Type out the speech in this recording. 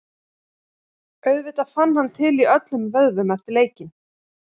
Auðvitað fann hann til í öllum vöðvum eftir leikinn.